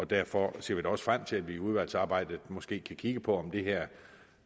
derfor ser vi da også frem til at man i udvalgsarbejdet måske kan kigge på om det her